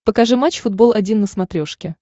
покажи матч футбол один на смотрешке